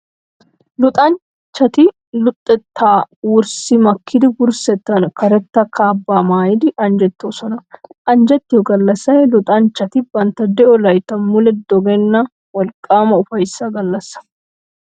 Luxanchchati luxettaa wurssi makkidi wurssettan karetta kaabbaa maayidi anjjettoosona. Anjjettiyo gallassay luxanchchati bantta de'o layttan mule dogenna wolqqaama ufayssa gallassay.